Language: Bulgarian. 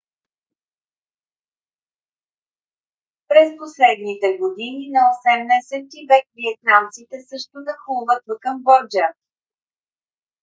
през последните години на 18 - ти век виетнамците също нахлуват в камбоджа